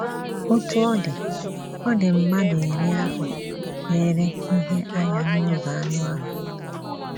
Otú ọ dị, ọ dị, mmadụ iri ahụ lere ihe anya n'ụzọ anụ ahụ́.